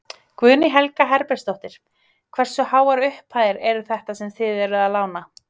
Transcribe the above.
Guðný Helga Herbertsdóttir: Hversu háar upphæðir eru þetta sem þið eruð að lána?